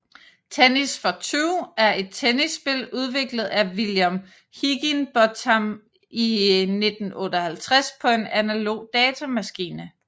Tennis for Two er et tennisspil udviklet af William Higinbotham i 1958 på en analog datamaskine